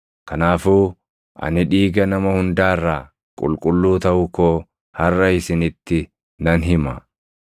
Kanaafuu ani dhiiga nama hundaa irraa qulqulluu taʼuu koo harʼa isinitti nan hima.